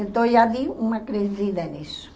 Então, já vi uma crescida nisso.